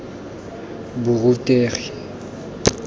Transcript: borutegi